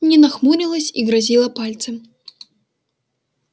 нина хмурилась и грозила пальцем